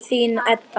Þín, Edda.